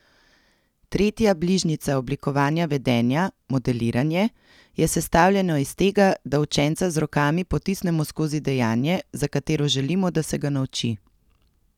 Tretja bližnjica oblikovanja vedenja, modeliranje, je sestavljeno iz tega, da učenca z rokami potisnemo skozi dejanje, za katero želimo, da se ga nauči.